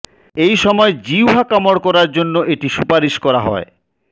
এই সময় জিহ্বা কামড় করার জন্য এটি সুপারিশ করা হয়